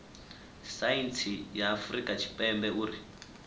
saintsi ya afurika tshipembe uri